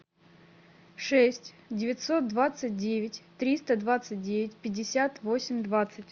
шесть девятьсот двадцать девять триста двадцать девять пятьдесят восемь двадцать